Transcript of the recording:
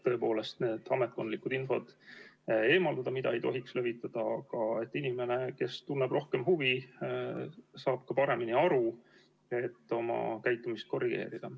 Tõepoolest, ametkondlik info, mida ei tohiks levitada, eemaldada, aga inimene, kes tunneb rohkem huvi, saab ka paremini aru, et oma käitumist korrigeerida.